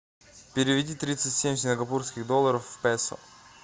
переведи тридцать семь сингапурских долларов в песо